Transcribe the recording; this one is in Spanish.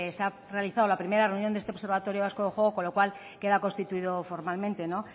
se ha realizado la primera reunión de este observatorio vasco de juego con lo cual queda constituido formalmente